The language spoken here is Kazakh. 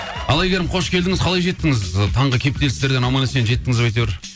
ал әйгерім қош келдіңіз қалай жеттіңіз ы таңғы кептелістерден аман есен жетіңіз ба әйтеуір